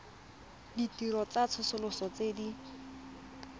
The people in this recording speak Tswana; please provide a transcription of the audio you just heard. ditirelo tsa tsosoloso tse di